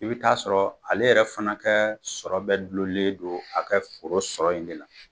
I bi t'a sɔrɔ ale yɛrɛ fɛnɛ kɛ sɔrɔ bɛɛ gulolen do a kɛ foro sɔrɔ in de la